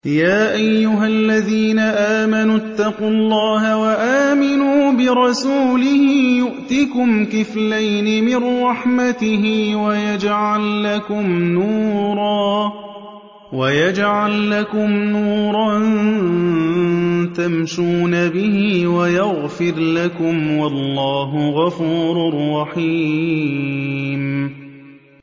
يَا أَيُّهَا الَّذِينَ آمَنُوا اتَّقُوا اللَّهَ وَآمِنُوا بِرَسُولِهِ يُؤْتِكُمْ كِفْلَيْنِ مِن رَّحْمَتِهِ وَيَجْعَل لَّكُمْ نُورًا تَمْشُونَ بِهِ وَيَغْفِرْ لَكُمْ ۚ وَاللَّهُ غَفُورٌ رَّحِيمٌ